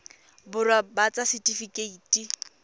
borwa ba ba ts setifikeite